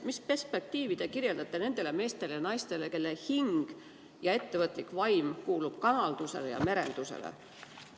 Mis perspektiivi te kirjeldate nendele meestele ja naistele, kelle hing ja ettevõtlik vaim kuulub kalandusele ja merendusele?